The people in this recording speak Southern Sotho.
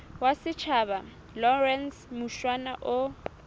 wa setjhaba lawrence mushwana o